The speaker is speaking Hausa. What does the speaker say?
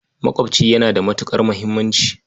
Maƙwaɓci yana da matuƙar muhimmanci.